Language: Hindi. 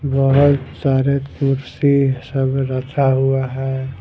बहुत सारे कुर्सी सब रखा हुआ है ।